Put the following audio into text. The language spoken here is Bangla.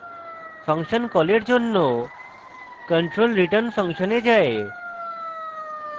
ফাংশন কলের জন্য control return _ function এ যায়